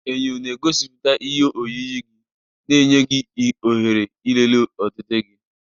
Enyo na-egosipụta ihe oyiyi gị, na-enye gị ohere ịlele ọdịdị gị.